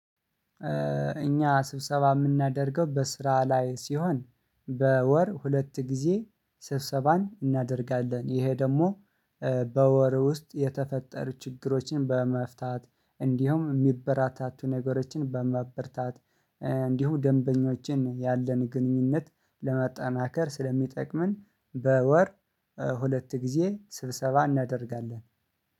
እኛ ስብሰባ የምናደርገው በስራ ላይ ሲሆን በወር ሁለት ጊዜ ስብሰባን እናደርጋለን። ይሄ ደግሞ በወር ውስጥ የተፈጠሩ ችግሮችን በመፍታት እንዲሁም የሚበራታቱ ነገሮችን በማበርታት እንዲሁም ደንበኞችን ያለን ግንኙነት ለመጠናከር ስለሚጠቅመን። በወር ሁለት ጊዜ ስብሰባ እናደርጋለን